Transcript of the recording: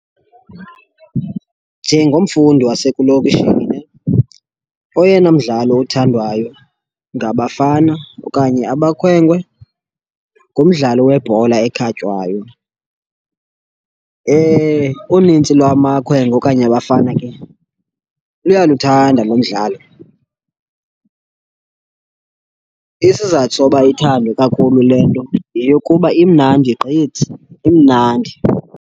Njengomfundi wasekulokishini oyena mdlalo othandwayo ngabafana okanye abakhwenkwe ngumdlalo webhola ekhatywayo. Unintsi lwamakhwenkwe okanye abafana ke luyaluthanda lo mdlalo. Isizathu soba ithandwe kakhulu le nto yeyokuba imnandi gqithi, imnandi.